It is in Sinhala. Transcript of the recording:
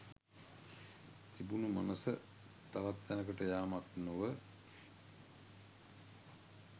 තිබුණු මනස තවත් තැනකට යාමක් නොව